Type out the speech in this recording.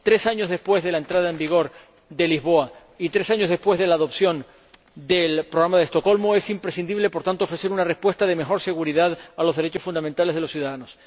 Tres años después de la entrada en vigor del Tratado de Lisboa y tres años después de la aprobación del Programa de Estocolmo es imprescindible, por tanto, ofrecer una respuesta de mayor seguridad para los derechos fundamentales de los ciudadanos.